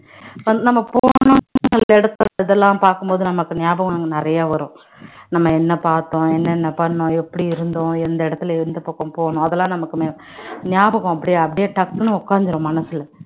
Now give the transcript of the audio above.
நம்ம இதெல்லாம் பார்க்கும் போது நமக்கு ஞாபகம் நமக்கு நிறைய வரும் நம்ம என்ன பார்த்தோம் என்னென்ன பண்ணோம் எப்படி இருந்தோம் எந்த இடத்துல எந்த பக்கம் போனோம் அதெல்லாம் நமக்கு ஞா~ ஞாபகம் அப்படியே அப்படியே டக்குன்னு உட்கார்ந்திரும் மனசுல